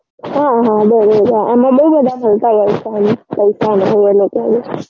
હા હા એમાં બૌ બધા મળતાં હોય છે પૈસાને એ લોકોને